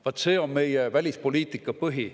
Vaat see on meie välispoliitika põhi.